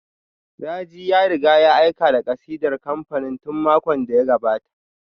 Raji ya riga ya aika da kasidar kamfanin tun makon da ya gabata